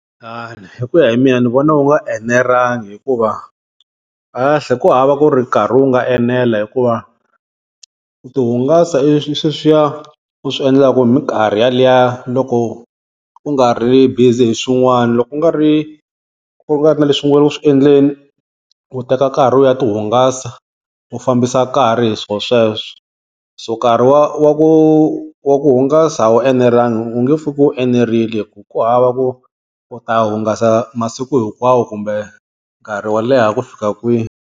Hi ku ya hi mina ni vona u nga enelangi hikuva kahlekahle ku hava ku ri nkarhi wu nga enela hikuva ku tihungasa i sweswiya u swi endlaka minkarhi yaliya loko u nga ri busy hi swin'wana, loko u nga ri u nga ri na leswi u nga le ku swi endleni, u teka nkarhi u ya tihungasa u fambisa nkarhi hi swo sweswo. So nkarhi wa wa ku wa ku hungasa a wu enelanga u nge pfuki u enerile hi ku ku hava ku u ta hungasa masiku hinkwawo kumbe nkarhi wo leha ku fika kwihi.